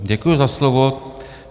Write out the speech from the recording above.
Děkuji za slovo.